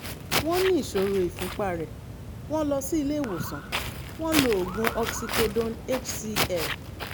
wọ́n ní ìṣòro ìfúnpá rẹ̀; wọ́n lọ sí ilé ìwòsàn; wọ́n lo oògùn oxycodone hcl